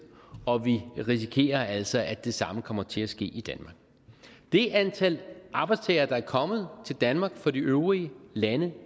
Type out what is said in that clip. og vi risikerer altså at det samme kommer til at ske i danmark det antal arbejdstagere der er kommet til danmark fra de øvrige lande